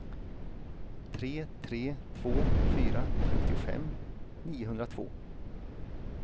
tre tre två fyra femtiofem niohundratvå